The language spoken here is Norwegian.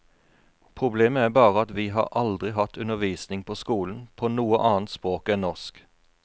Problemet er bare at vi har aldri hatt undervisning på skolen på noe annet språk enn norsk.